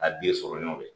A den sɔrɔ ɲɔgɔn dɛ